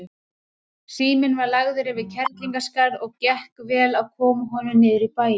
Síminn var lagður yfir Kerlingarskarð og gekk vel að koma honum niður í bæinn.